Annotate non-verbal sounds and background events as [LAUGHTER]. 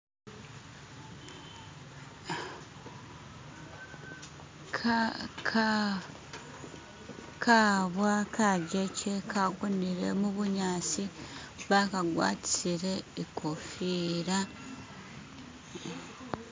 [SKIP] kabwa kajeke kagonele mubunyasi bakagwatisile ikofila [SKIP]